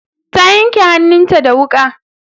Ta yanke hannun ta da wuƙa